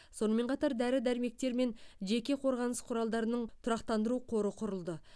сонымен қатар дәрі дәрмектер мен жеке қорғаныс құралдарының тұрақтандыру қоры құрылды